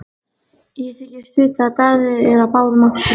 Ég þykist vita að Daði er á báðum áttum.